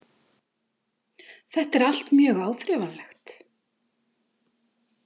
Þetta er allt mjög áþreifanlegt.